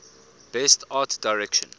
best art direction